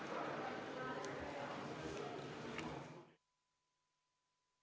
Istungi lõpp kell 10.17.